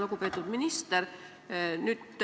Lugupeetud minister!